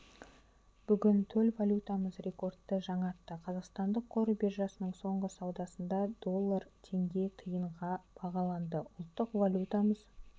бүгін төл валютамыз рекордты жаңартты қазақстандық қор биржасының соңғы саудасында доллар теңге тиынға бағаланды ұлттық валютамыз